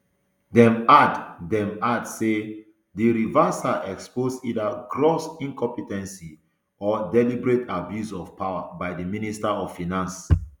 dem add dem add say dis reversal expose either gross incompe ten ce or a deliberate abuse of power by di minister of finance